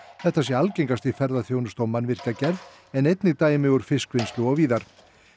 þetta sé algengast í ferðaþjónustu mannvirkjagerð en einnig dæmi úr fiskvinnslu og víðar